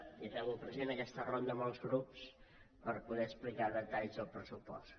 i acabo president aquesta ronda amb els grups per poder explicar detalls del pressupost